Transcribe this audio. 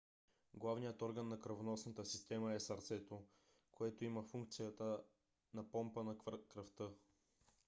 главният орган на кръвоносната система е сърцето което има функцията на помпа на кръвта